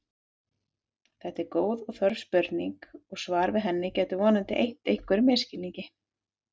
Þetta er góð og þörf spurning og svar við henni getur vonandi eytt einhverjum misskilningi.